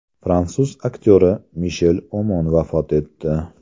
Fransuz aktyori Mishel Omon vafot etdi.